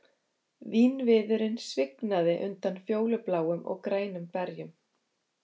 Vínviðurinn svignaði undan fjólubláum og grænum berjum